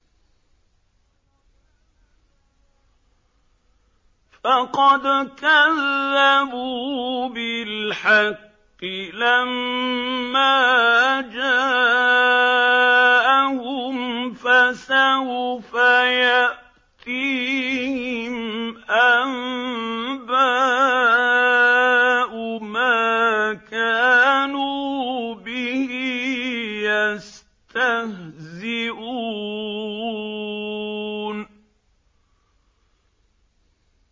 فَقَدْ كَذَّبُوا بِالْحَقِّ لَمَّا جَاءَهُمْ ۖ فَسَوْفَ يَأْتِيهِمْ أَنبَاءُ مَا كَانُوا بِهِ يَسْتَهْزِئُونَ